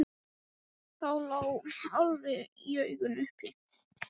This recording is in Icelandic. Það lá alveg í augum uppi.